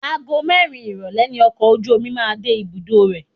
Ago mẹ́rin ìrólé ni ọkọ̀ ojú omi máa ń dé ibùdó rẹ̀.